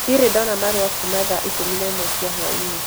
Ndirĩ ndona marũa kuuma thaa ikũmi na ĩmwe cia hwaĩ-inĩ